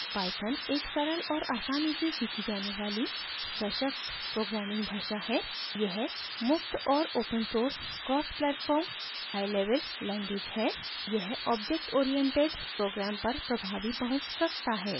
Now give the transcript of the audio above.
python एक सरल और आसानी से सीखी जाने वाली सशक्त programming भाषा है